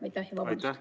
Aitäh ja vabandust!